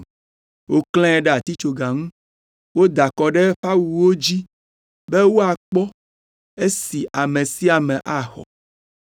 Woklãe ɖe atitsoga ŋu. Woda akɔ ɖe eƒe awuwo dzi be woakpɔ esi ame sia ame axɔ.